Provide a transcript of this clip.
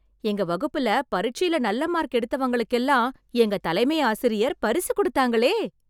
எங்க வகுப்புல, பரிட்சைல நல்ல மார்க் எடுத்தவங்களுக்கெல்லாம் எங்க தலைமை ஆசிரியர் பரிசு கொடுத்தாங்களே...